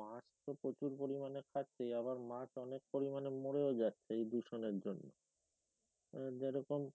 মাছ তো প্রচুর পরিমানে খাচ্ছে আবার মাছ অনেক পরিমানে মরেও যাচ্ছে দূষণের জন যেরকম